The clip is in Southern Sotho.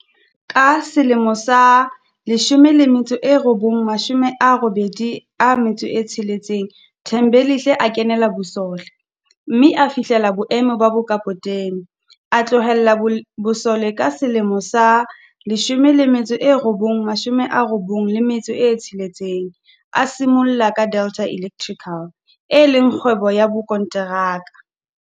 Ka 1986 Thembelihle a kenela bosole, mme a fihlella boemo ba bokapotene. A tlohela bosole ka 1996, a simolla ka Delta Electrical, e leng kgwebo ya bokonteraka.